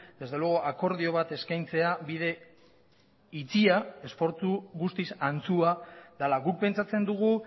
desde luego akordio bat eskaintzea bide itxia esfortzu guztiz antxua dela guk pentsatzen dugu